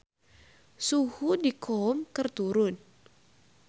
Suhu di Qom keur turun